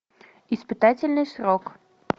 испытательный срок